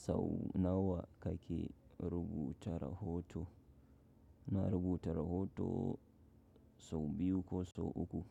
Sau nawa kake rubuta rahoton? Ina rubuta rahoton sau biyu ko sau uku.